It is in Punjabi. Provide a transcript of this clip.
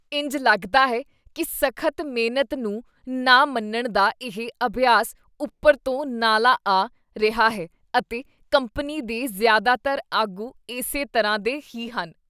ਇੰਝ ਲੱਗਦਾ ਹੈ ਕੀ ਸਖ਼ਤ ਮਿਹਨਤ ਨੂੰ ਨਾ ਮੰਨਣ ਦਾ ਇਹ ਅਭਿਆਸ ਉੱਪਰ ਤੋਂ ਨਾਲਾਂ ਆ ਰਿਹਾ ਹੈ ਅਤੇ ਕੰਪਨੀ ਦੇ ਜ਼ਿਆਦਾਤਰ ਆਗੂ ਇਸੇ ਤਰ੍ਹਾਂ ਦੇ ਹੀ ਹਨ।